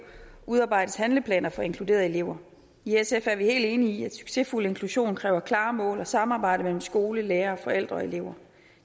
udarbejdes handleplaner for inkluderede elever i sf er vi helt enige i at succesfuld inklusion kræver klare mål og samarbejde mellem skole lærere forældre og elever